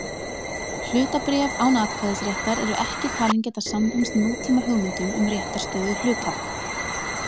Hlutabréf án atkvæðisréttar eru ekki talin geta samrýmst nútíma hugmyndum um réttarstöðu hluthafa.